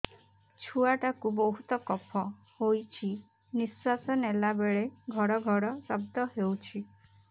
ଛୁଆ ଟା କୁ ବହୁତ କଫ ହୋଇଛି ନିଶ୍ୱାସ ନେଲା ବେଳେ ଘଡ ଘଡ ଶବ୍ଦ ହଉଛି